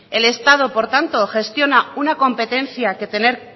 el estado por tanto gestiona una competencia que